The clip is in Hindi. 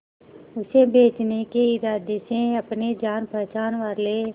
उसे बचने के इरादे से अपने जान पहचान वाले